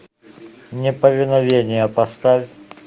неповиновение поставь